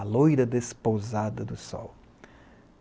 A loira despousada do sol.